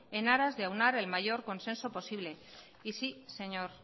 en aras de aunar el mayor consenso posible y sí señor